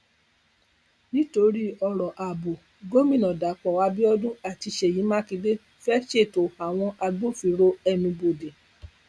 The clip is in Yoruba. nítorí ọrọ ààbò gómìnà dapò abiodun àti sèyí makinde fẹẹ ṣètò àwọn agbófinró ẹnuubodè